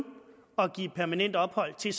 at give permanent ophold til